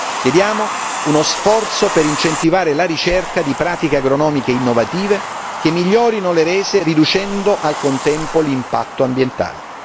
Chiediamo uno sforzo per incentivare la ricerca di pratiche agronomiche innovative che migliorino le rese riducendo al contempo l'impatto ambientale.